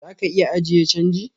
Zaka iya ajiye change.